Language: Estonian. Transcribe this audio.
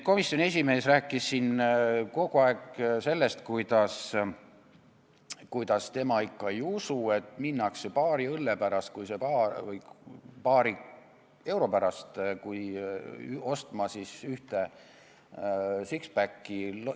Komisjoni esimees rääkis siin kogu aeg, et tema ikka ei usu, et minnakse paari euro pärast ostma ühte six-pack'i.